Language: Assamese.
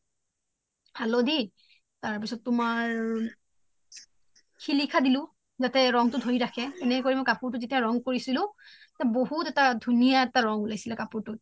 হালোধি তাৰপিছ্ত তুমাৰ সিলিশা দিলো জাতে ৰানং তু ধৰি ৰাখে এনেকে মই যেতিয়া ৰানং কৰিছিলো এটা বহুত এটা ধুনিয়া ৰানং উলাইছিলে কাপুৰ তুৰ